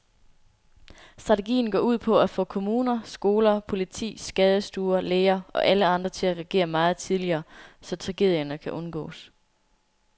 Strategien går ud på at få kommuner, skoler, politi, skadestuer, læger og alle andre til at reagere meget tidligere, så tragedierne kan undgås.